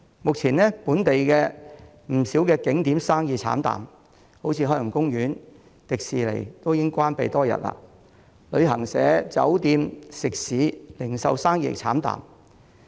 目前，本地不少景點生意慘淡，例如海洋公園、迪士尼樂園已經關閉多日，旅行社、酒店、食肆和零售生意慘淡。